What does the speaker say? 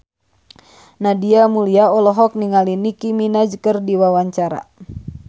Nadia Mulya olohok ningali Nicky Minaj keur diwawancara